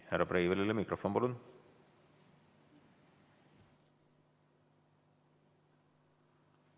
Härra Breivelile mikrofon, palun.